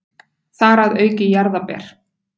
Þar að auki jarðarber.